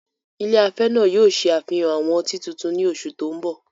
Ilé afẹ́ náà yóò ṣe àfihàn àwọn ọtí tuntun ní oṣù tó ń bọ̀.